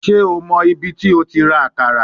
Ṣe o mọ ibiti o ti ra akara?